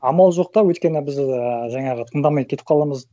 амал жоқ та өйткені біз ыыы жаңағы тыңдамай кетіп қаламыз